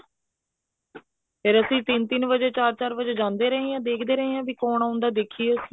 ਫ਼ੇਰ ਅਸੀਂ ਤਿੰਨ ਤਿੰਨ ਵਜੇ ਚਾਰ ਚਾਰ ਵਜੇ ਜਾਂਦੇ ਰਹੇ ਹਾਂ ਵੀ ਕੋਣ ਆਉਂਦਾ ਦੇਖਦੇ ਹਾਂ ਅਸੀਂ